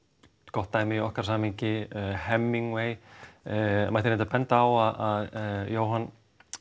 gott dæmi í okkar samhengi Hemingway það mætti reyndar benda á að Jóhann